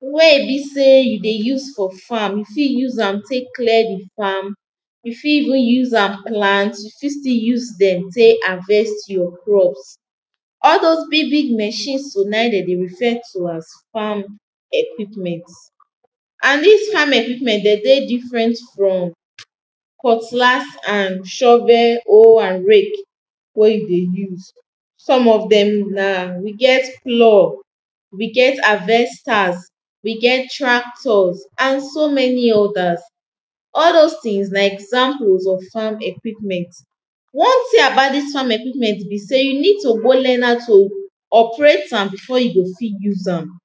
wey be sey you dey use for farm, you fit use am tek clear the farm, you fit even use am plant, you fit still use dem tek harvest your crops. all dose big big machine so, na dem dey refer to as farm equipment. and dis farm equipment de dey different from, cutlass and shovel, hoe and rake, wey you dey use. some of dem na, we get plough, we get harvesters, we get tractors, and so many others. all dose tings na examples of farm equipment. one ting about dis farm equipment be sey, you need to go learn how to, operate am before you go fit use am,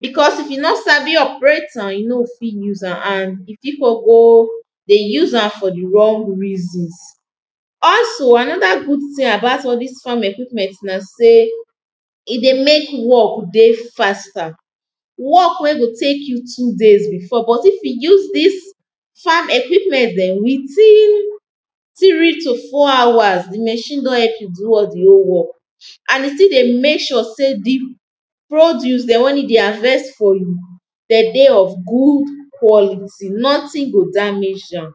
because if you no sabi operate am, you no fit use am, and the pipo go dey use am for the wrong reasons also, another good ting about all dis farm equipment na sey, e dey mek work dey faster. work wey go tek you two days before, but if you use dis farm equipment dem within three to four hours the machine don help you do all the whole work. and the ting dey mek sure sey the produce dem, when e dey harvest for you de dey of good quality nothing go damage am.